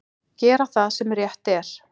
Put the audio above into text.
Gera það sem rétt er.